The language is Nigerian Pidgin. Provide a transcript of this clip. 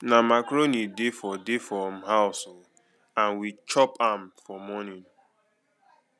na macaroni dey for dey for um house oo and we chop am for morning